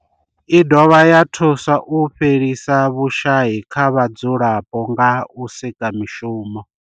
I dovha ya thusa u fhelisa vhushayi kha vhadzulapo nga u sika mishumo.